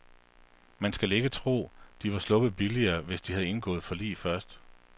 Man skal ikke tro, at de var sluppet billigere, hvis de havde indgået forlig først.